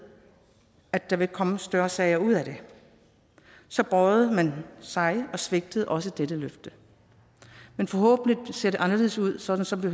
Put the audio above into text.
at der ville komme større sager ud af det så bøjede man sig og svigtede også dette løfte men forhåbentlig ser det nu anderledes ud sådan som vi